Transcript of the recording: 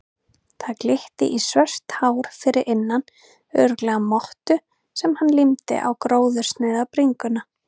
Það glitti í svört hár fyrir innan, örugglega mottu sem hann límdi á gróðursnauða bringuna.